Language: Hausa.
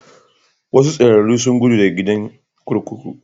Wasu tsararru sun gudu daga gidan kurkuku.